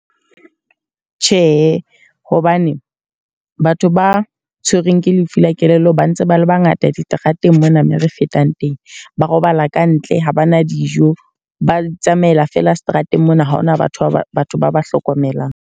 Tjhe, hobane batho ba tshwerweng ke lefu la kelello ba ntse ba le bangata diterateng mona me re fetang teng. Ba robala kantle ha bana dijo. Ba itsamaela feela seterateng mona ha hona batho ba ba batho ba ba hlokomelang.